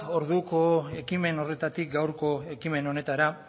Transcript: orduko ekimen horretatik gaurko ekimen honetara